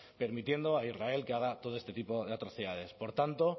permitiendo a israel que haga todo este tipo de atrocidades por tanto